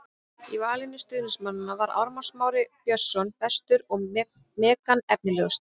Í vali stuðningsmanna var Ármann Smári Björnsson bestur og Megan efnilegust.